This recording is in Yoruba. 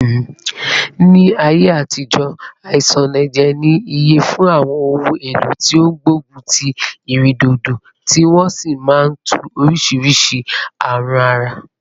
Ni aye atijo, asanaje ni iye fun awon ohun elo ti o gbogun ti iredodo, ti won si maa n tu orisiirisii arun ara